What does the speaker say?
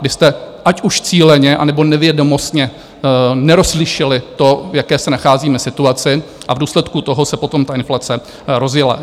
Vy jste, ať už cíleně, anebo nevědomostně, nerozlišili to, v jaké se nacházíme situaci, a v důsledku toho se potom ta inflace rozjela.